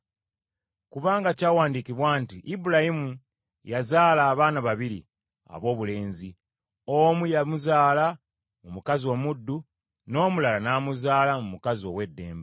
Kubanga kyawandiikibwa nti Ibulayimu yazaala abaana babiri aboobulenzi, omu yamuzaala mu mukazi omuddu, n’omulala n’amuzaala mu mukazi ow’eddembe.